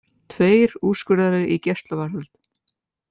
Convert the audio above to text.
Tveir úrskurðaðir í gæsluvarðhald